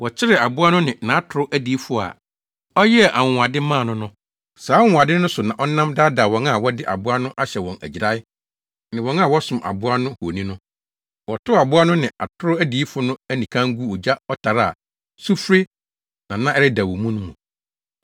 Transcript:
Wɔkyeree aboa no ne nʼatoro adiyifo a ɔyɛɛ anwonwade maa no no. Saa anwonwade no so na ɔnam daadaa wɔn a wɔde aboa no ahyɛ wɔn agyirae ne wɔn a wɔsom aboa no honi no. Wɔtow aboa no ne atoro adiyifo no anikann guu ogya ɔtare a sufre na na ɛredɛw wɔ mu no mu.